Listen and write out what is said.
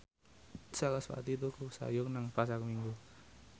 sarasvati tuku sayur nang Pasar Minggu